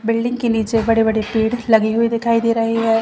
Building के नीचे बड़े बड़े पेड़ लगे हुए दिखाई दे रहे है।